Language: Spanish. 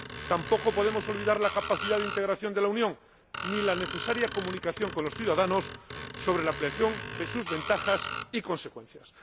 Tampoco podemos olvidar la capacidad de integración de la Unión, ni la necesaria comunicación con los ciudadanos sobre la ampliación y sus ventajas y consecuencias.